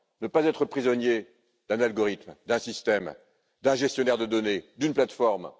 Ne pas être prisonnier d'un algorithme, d'un système, d'un gestionnaire de données, d'une plateforme.